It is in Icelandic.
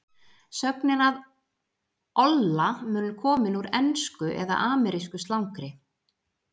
Sögnin að olla mun komin úr ensku eða amerísku slangri.